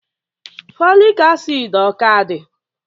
Folic acid ọ ka dị?